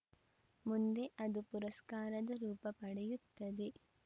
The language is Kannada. ಮುಂದೆ ಅದು ಪುರಸ್ಕಾರದ ರೂಪ ಪಡೆಯುತ್ತದೆ